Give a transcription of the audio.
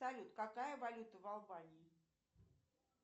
салют какая валюта в албании